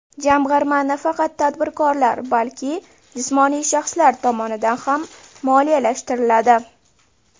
Jamg‘arma nafaqat tadbirkorlar, balki jismoniy shaxslar tomonidan ham moliyalashtiriladi.